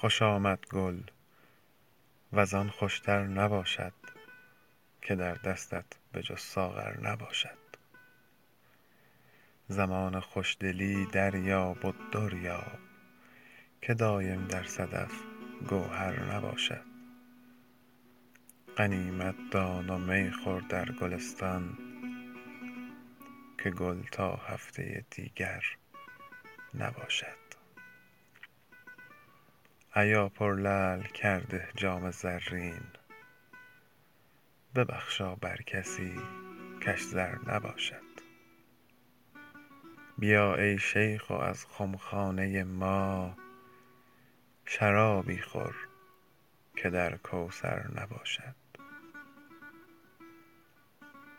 خوش آمد گل وز آن خوش تر نباشد که در دستت به جز ساغر نباشد زمان خوش دلی دریاب و در یاب که دایم در صدف گوهر نباشد غنیمت دان و می خور در گلستان که گل تا هفته دیگر نباشد ایا پرلعل کرده جام زرین ببخشا بر کسی کش زر نباشد بیا ای شیخ و از خم خانه ما شرابی خور که در کوثر نباشد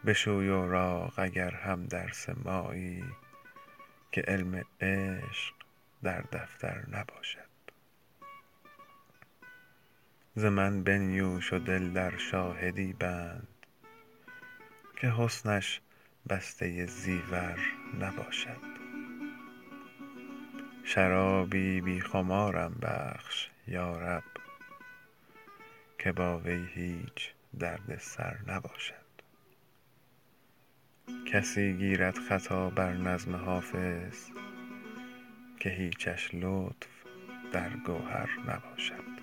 بشوی اوراق اگر هم درس مایی که علم عشق در دفتر نباشد ز من بنیوش و دل در شاهدی بند که حسنش بسته زیور نباشد شرابی بی خمارم بخش یا رب که با وی هیچ درد سر نباشد من از جان بنده سلطان اویسم اگر چه یادش از چاکر نباشد به تاج عالم آرایش که خورشید چنین زیبنده افسر نباشد کسی گیرد خطا بر نظم حافظ که هیچش لطف در گوهر نباشد